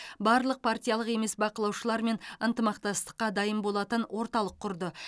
барлық партиялық емес бақылаушылармен ынтымақтастыққа дайын болатын орталық құрды